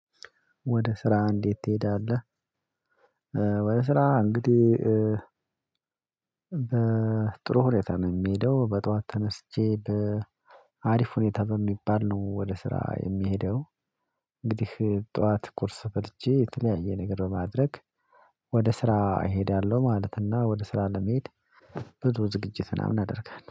ወደ ስራ እንዴት ትሄዳለህ? ወደ ስራ እንግዲህ ጥሩ ሁኔታ ነው የሚሄደው በጧት ተነስቼ በአሪፍ ሁኔታ በሚባል ነው ወደ ስራ የምሄደው። እንግዲህ ጠዋት ቁርስ በልቼ የተለያየ ነገር በማድረግ ወደ ስራ እሄዳለሁ ማለት እና ወደ ስራ ለመሄድ። ብዙ ዝግጅት ምናምን አደርጋለሁ